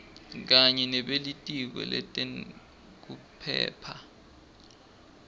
kanye nebelitiko letekuphepha